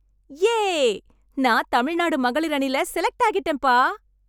யே! நான் தமிழ்நாடு மகளிர் அணில செலக்ட் ஆகிட்டேன், பா!